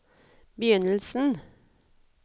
begynnelsen